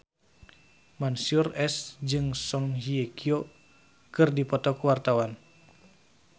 Mansyur S jeung Song Hye Kyo keur dipoto ku wartawan